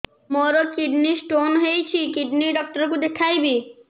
ମୋର kidney stone ହେଇଛି kidney doctor କୁ ଦେଖାଇବି